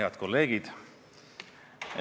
Head kolleegid!